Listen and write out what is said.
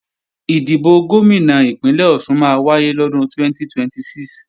Ìdìbò Gómìnà Ìpínlẹ̀ Ọ̀ṣun máa wáyé lọ́dún 2026